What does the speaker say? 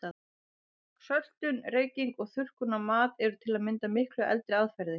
Söltun, reyking og þurrkun á mat eru til að mynda miklu eldri aðferðir.